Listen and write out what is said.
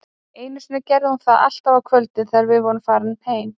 Einu sinni gerði hún það alltaf á kvöldin, þegar við vorum farnir heim